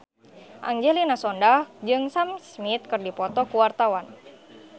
Angelina Sondakh jeung Sam Smith keur dipoto ku wartawan